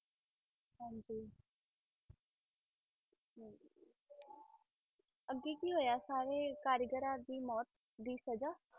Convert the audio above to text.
ਅੱਗੇ ਕੀ ਹੋਇਆ ਸਾਰੇ ਕਾਰੀਗਰਾਂ ਦੀ ਮੌਤ ਦੀ ਸਜ਼ਾ?